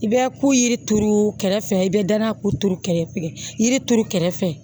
I bɛ ko yiri turu kɛrɛfɛ i bɛ darako turu kɛrɛfɛ yiri turu kɛrɛfɛ